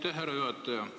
Aitäh, härra juhataja!